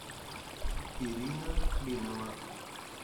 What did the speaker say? ирина клинова